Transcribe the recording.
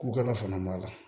Ko kala fana b'a la